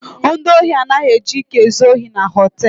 Ndị osi anaghi eji ike ezu osi na họtelụ.